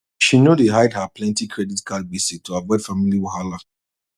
she know dey hide her plenty credit card gbese to avoid family wahala